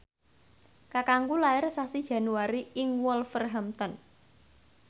kakangku lair sasi Januari ing Wolverhampton